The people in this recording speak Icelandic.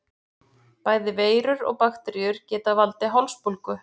Bæði veirur og bakteríur geta valdið hálsbólgu.